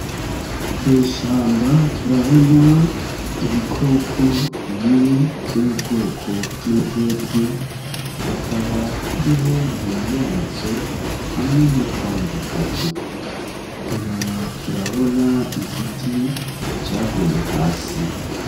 Mw'ishamba turabona ibikoko bine vyo mu bwoko bw'imbwebwe, hakaba hariyo nyina yazo hamwe n'utwana dutatu inyuma turabona igiti caguye hasi.